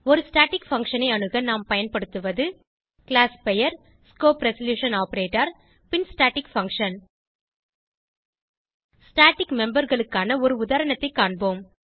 ஒரு static function ஐ அணுக நாம் பயன்படுத்துவது கிளாஸ் பெயர்160 பின் staticfunction ஸ்டாட்டிக் memeberகளுக்கான உதாரணத்தை காண்போம்